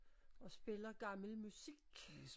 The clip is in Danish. Og spiller gammel musik